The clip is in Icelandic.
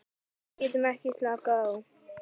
Við getum ekki slakað á.